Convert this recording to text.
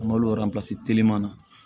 An ka telima na